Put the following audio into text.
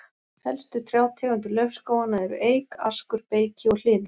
Helstu trjátegundir laufskóganna eru eik, askur, beyki og hlynur.